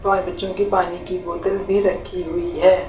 Toy मे बच्चों की पानी की बोतल भी रखी हुई है।